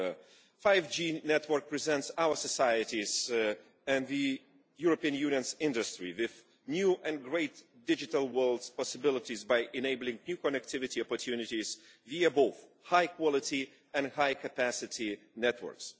The 5G network presents our societies and the European Union's industry with new and great digital possibilities by enabling new connectivity opportunities via both high quality and high capacity networks.